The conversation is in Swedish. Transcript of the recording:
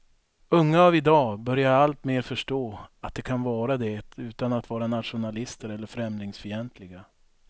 Unga av idag börjar alltmer förstå att de kan vara det utan att vara nationalister eller främlingsfientliga.